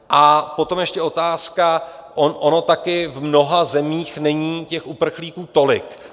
A potom ještě otázka - ono také v mnoha zemích není těch uprchlíků tolik.